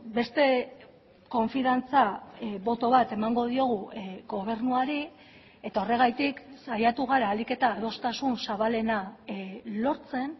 beste konfiantza boto bat emango diogu gobernuari eta horregatik saiatu gara ahalik eta adostasun zabalena lortzen